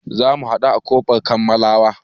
Za mu haɗu a ƙofar kammalawa.